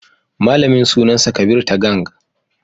Malaman suna sa Kabir Tagang.